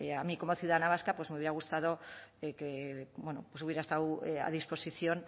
a mí como ciudadana vasca pues me hubiera gustado que hubiera estado a disposición